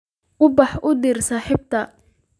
Ubax u dir saaxiibtay